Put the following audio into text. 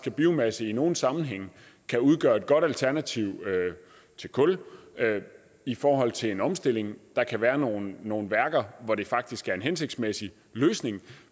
at biomasse i nogle sammenhænge kan udgøre et godt alternativ til kul i forhold til en omstilling der kan være nogle nogle værker hvor det faktisk er en hensigtsmæssig løsning